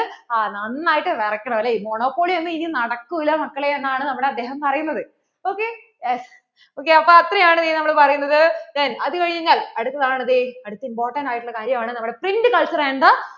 ആ നന്നായിട്ട് വിറക്കണം അല്ലെ monopoly ഇനി ഒന്നും നടക്കൂല മക്കളേ എന്നാണ് നമ്മോടു അദ്ദേഹം പറയണത് okyesok അപ്പോ അത്രയാണ് ഇനി നമ്മൾ ഈ പറയുന്നത് then കഴിഞ്ഞാൽ അടുത്തതാണ് ദേ അടുത്ത important ആയിട്ട് ഉള്ള കാര്യം ആണ് നമ്മുടെ print culture and the